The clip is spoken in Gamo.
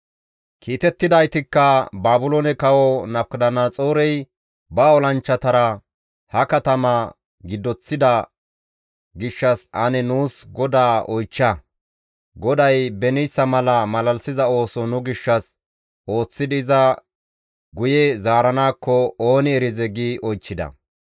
Kiitettidaytikka, «Baabiloone Kawo Nabukadanaxoorey ba olanchchatara ha katama giddoththida gishshas ane nuus GODAA oychcha. GODAY beniyssa mala malalisiza ooso nu gishshas ooththidi iza guye zaaranaakko ooni erizee» gi oychchida.